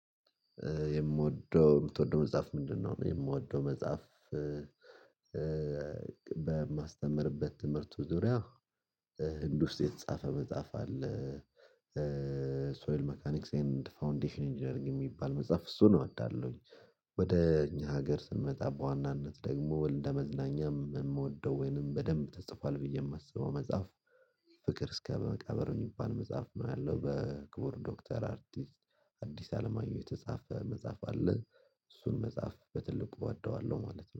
የምወደው የምትወደው መጽሐፍ ምንድነው? የምወደው መጽሐፍ በማስተምርበት ትምህርቱ ዙሪያ ህንድ ውስጥ የተጻፈ መጽሐፍ አለ። ሶይል ሜካኒክስ ኤንድ ፋውንዴሽን ኢንጂነሪንግ የሚባል መጽሐፍ እሱን እወዳለሁኝ። ወደ እኛ ሀገር ስንመጣ በዋናነት ደግሞ ወይ እንደመዝናኛም የምወደው ወይንም በደንብ ተጽፏል ብዬ የማስበው መጽሐፍ። ፍቅር እስከ በመቃብር የሚባል መጽሐፍ ነው ያለው በክቡር ዶክተር አርቲስት አዲስ አለማየሁ የተጻፈ መጽሐፍ አለ። እሱን መጽሐፍ በትልቁ እወደዋለሁ ማለት ነው